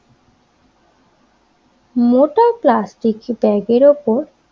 মোটা প্লাস্টিক ব্যাগের ওপর